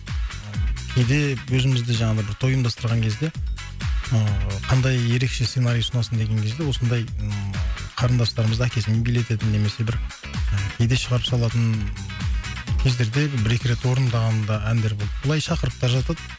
кейде өзіміз де жаңағы бір той ұйымдастырған кезде ыыы қандай ерекше сценарий ұсынасың деген кезде осындай ыыы қарындастарымызды әкесімен билететін немесе бір неде шығарып салатын кездерде бір екі рет орындаған да әндер болды былай шақырып та жатады